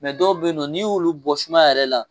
dɔw bɛ yen nɔ n'i w'olu bɔ sumaya yɛrɛ la